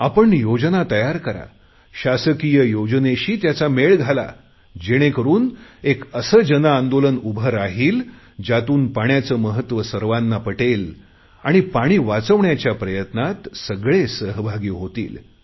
आपण योजना तयार करा शासकीय योजनेशी त्याचा मेळ घाला जेणेकरुन एक असे जनआंदोलन उभे राहील ज्यातून पाण्याचे महत्व सर्वांना पटेल आणि पाणी वाचवण्याच्या प्रयत्नात सगळे सहभागी होतील